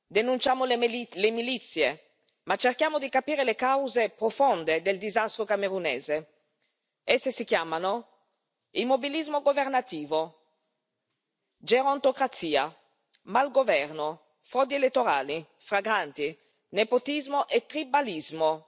Denunciamo le milizie, ma cerchiamo di capire le cause profonde del disastro camerunese esse si chiamano immobilismo governativo, gerontocrazia, malgoverno, frodi elettorali flagranti, nepotismo e tribalismo.